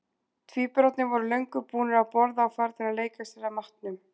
Tvíburarnir voru löngu búnir að borða og farnir að leika sér að matnum.